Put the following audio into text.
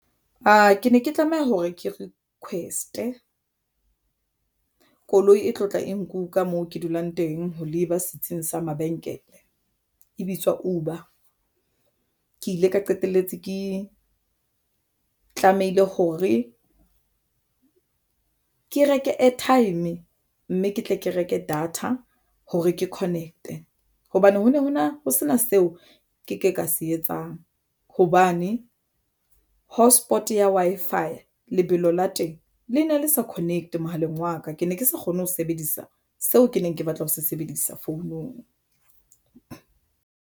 Aa ke ne ke tlameha hore ke request koloi e tlotla e nku ka moo ke dulang teng ho leba setsing sa mabenkele e bitswa Uber ke ile ka qetelletse ke tlamehile hore e ke reke airtime mme ke tle ke reke data hore ke connect-e hobane ho ne hona ho sena seo ke ke ka se etsang hobane hotspot ke ya Wi-Fi Lebelo la teng le na le sa connect mohaleng wa ka ke ne ke sa kgone ho sebedisa seo ke neng ke batla ho se sebedisa founung.